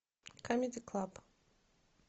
камеди клаб